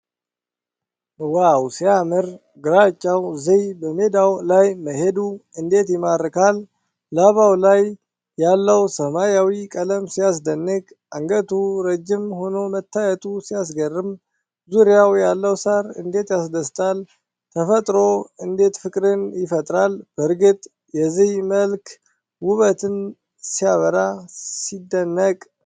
ዋው ሲያምር! ግራጫው ዝይ በሜዳው ላይ መሄዱ እንዴት ይማርካል! ላባው ላይ ያለው ሰማያዊ ቀለም ሲያስደንቅ! አንገቱ ረጅም ሆኖ መታየቱ ሲያስገርም! ዙሪያው ያለው ሣር እንዴት ያስደስታል! ተፈጥሮ እንዴት ፍቅርን ይፈጥራል! በእርግጥ የዝይዋ መልክ ውበትን ሲያበራ! ሲደነቅ!